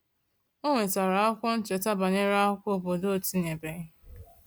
O nwetara akwụkwọ ncheta banyere akwụkwọ obodo ọ n'etinyebeghị